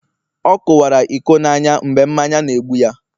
ọ kuwara iko n'anya, mgbe mmanya n' egbu ya